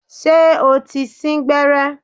Ṣé o ti sín gbẹ́rẹ́?